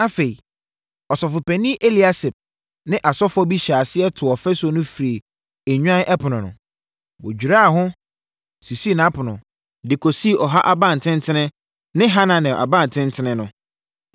Afei, ɔsɔfopanin Eliasib ne asɔfoɔ bi hyɛɛ aseɛ too ɔfasuo no firii Nnwan Ɛpono no. Wɔdwiraa ho, sisii nʼapono, de kɔsii Ɔha Abantenten ne Hananel Abantenten no.